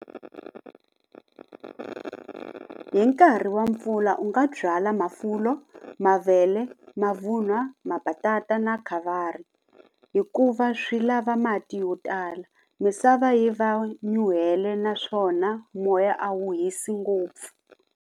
Hi nkarhi wa mpfula u nga byala mafulo, mavele, mavun'wa, mabatata na khavari hikuva swi lava mati yo tala misava yi va nyuhela naswona moya a wu hisi ngopfu.